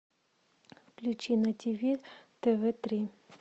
включи на тв тв три